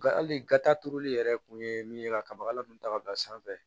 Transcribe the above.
Hali gata turuli yɛrɛ kun ye min ye ka kabakala ninnu ta ka bila sanfɛ